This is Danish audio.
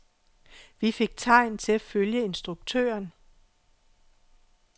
Vi fik tegn til at følge instruktøren.